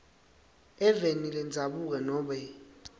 eveni lendzabuko nobe